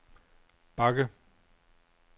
bakke